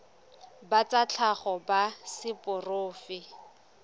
ba tsa tlhago ba seporofe